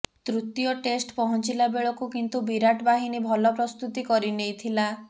ତୃତୀୟ ଟେଷ୍ଟ୍ ପହଞ୍ଚିଲା ବେଳକୁ କିନ୍ତୁ ବିରାଟ ବାହିନୀ ଭଲ ପ୍ରସ୍ତୁତି କରି ନେଇଥିଲା